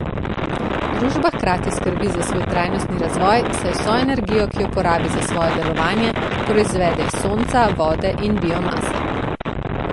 Družba hkrati skrbi za svoj trajnostni razvoj, saj vso energijo, ki jo porabi za svojem delovanje, proizvede iz sonca, vode in biomase.